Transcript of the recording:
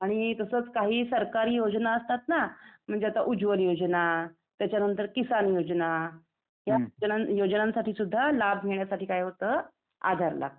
आणि तसच काही सरकारी योजना असतात ना म्हणजे आता उज्वल योजना, त्याच्यानंतर किसान योजना, त्या योजनांसाठी सुद्धा लाभ घेण्यासाठी काय होतं आधार लागतं .